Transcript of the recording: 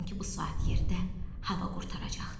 Sanki bu saat yerdə hava qurtaracaqdı.